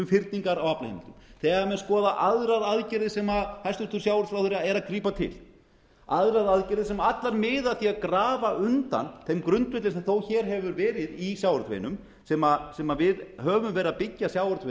fyrningar á aflaheimildum þegar menn skoða aðrar aðgerðir sem hæstvirtur sjávarútvegsráðherra að grípa til aðrar aðgerðir sem allar miða að því að grafa undan þeim grundvelli sem þó hér hefur verið í sjávarútveginum sem við höfum verið að byggja sjávarútveginn